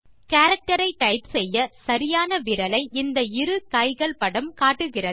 character ஐ type செய்ய சரியான விரலை இந்த இரு கைகள் படம் காட்டுகிறது